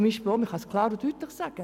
Man kann es klar und deutlich sagen: